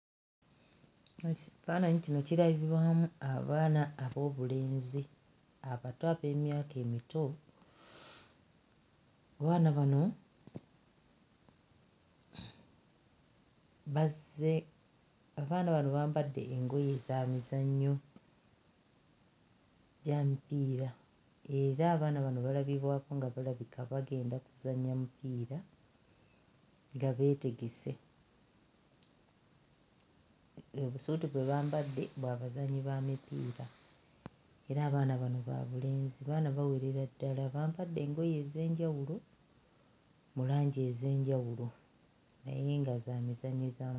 Esi faananyi kino kiragibwamu abaana ab'obulenzi akato ak'emyaka emito abaana bano bazze abaana bano bambadde engoye za mizannyo gya mipiira era abaana bano balabibwako nga balabika bagenda kuzannya mupiira nga beetegese ee busuuti bwe bambadde bwa bazannyi ba mupiira era abaana bano ba bulenzi baana bawerera ddala bambadde engoye ez'enjawulo mu langi ez'enjawulo naye nga za mizannyo.